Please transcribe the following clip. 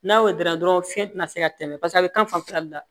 N'a y'o dɔrɔn fiɲɛ ti na se ka tɛmɛ pase a bɛ kan fanfɛla de la